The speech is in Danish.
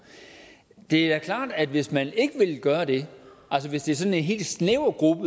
det er klart at hvis man ikke vil gøre det altså hvis det er sådan en helt snæver gruppe